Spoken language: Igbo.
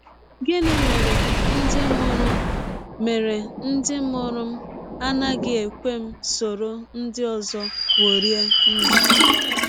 Gịnị Mere Ndị Mụrụ Mere Ndị Mụrụ m Anaghị Ekwe M Soro Ndị Ọzọ Kporie Ndụ?